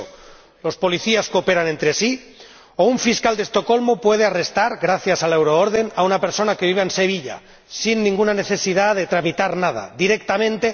sólo eso las policías cooperan entre sí o un fiscal de Estocolmo puede arrestar, gracias a la Euroorden, a una persona que viva en Sevilla sin ninguna necesidad de tramitar nada, directamente.